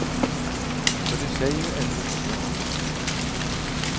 För du säger ju ändå som jag.